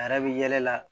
A yɛrɛ bɛ yɛlɛ la